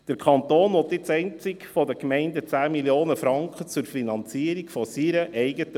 Der Kanton will von den Gemeinden nun 10 Mio. Franken pro Jahr zur Finanzierung seiner eigenen